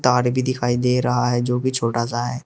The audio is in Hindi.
भी दिखाई दे रहा है जो की छोटा सा है।